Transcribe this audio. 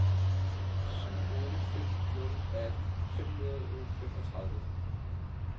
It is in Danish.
syv otte fem nul atten fem hundrede og femogtredive